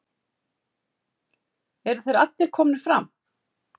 Eru þeir allir komnir fram?